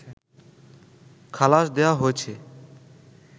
খালাস দেয়া হয়েছে